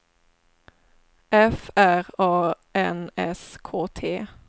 F R A N S K T